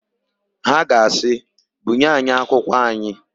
Ha ga asị, "bunye anyị akwụkwọ anyị"!